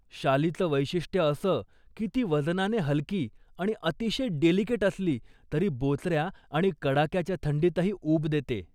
शालीचं वैशिष्ट असं की ती वजनाने हलकी आणि अतिशय डेलिकेट असली, तरी बोचऱ्या आणि कडाक्याच्या थंडीतही उब देते.